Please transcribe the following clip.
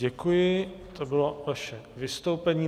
Děkuji, to bylo vaše vystoupení.